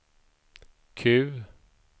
Q